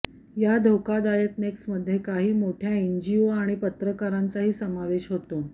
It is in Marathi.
या धोकादायक नेक्ससमध्ये काही मोठ्या एनजीओ आणि पत्रकारांचाही समावेश होता